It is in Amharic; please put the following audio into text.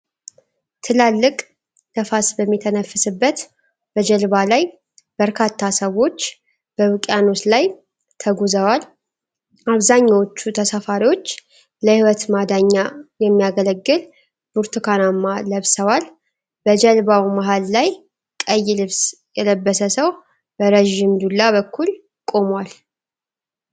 ትላልቅ ነፋስ በሚተነፍስበት በጀልባ ላይ፣ በርካታ ሰዎች በውቅያኖስ ላይ ተጉዘዏል። አብዛኛዎቹ ተሳፋሪዎች ለሕይወት ማዳኛ የሚያገለግሉ ብርቱካናማ ለብሰዋል። በጀልባው መሃል ላይ ቀይ ልብስ የለበሰ ሰው በረዥም ዱላ በኩል ቆመዏል።